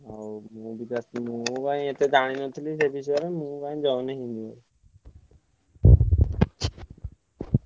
ଆଉ ମୁଁ କାଇଁ ଏତେ ଜାଣି ନଥିଲି ସେ ବିଷୟ ରେ ମୁଁ କାଇଁ join ହେଇନି